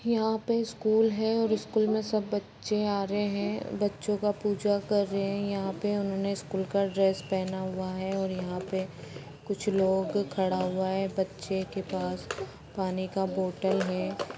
यहाँ पे स्कूल है स्कूल मे सब बच्चे आ रहे है बच्चों का पूजा कर रहे है यहाँ पे उन्होंने स्कूल का प्ड्रेस पहना हुआ है और यहाँ पे कुछ लोग खड़ा हुआ है बच्चे के पास पानी का बोतल है।